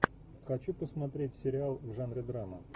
хочу посмотреть сериал в жанре драма